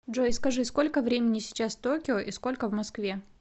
джой скажи сколько времени сейчас в токио и сколько в москве